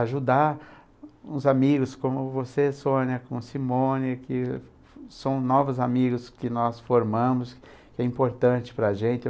ajudar os amigos como você, Sônia, como Simone, que são novos amigos que nós formamos, que é importante para a gente.